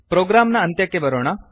program ನ ಅಂತ್ಯಕ್ಕೆ ಬರೋಣ